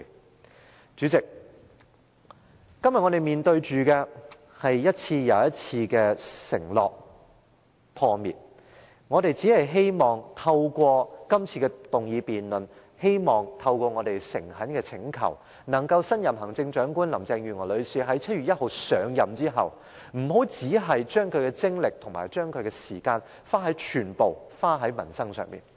代理主席，今天我們面對的是一次又一次的承諾破滅，我們只希望透過這次議案辯論，透過我們的誠懇請求，能令新任行政長官林鄭月娥女士在7月1日上任後，不要只把精力和時間全部用在民生議題上。